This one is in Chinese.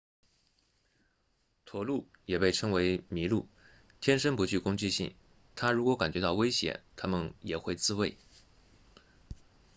驼鹿也被称为麋鹿天生不具攻击性但如果感觉到威胁它们也会自卫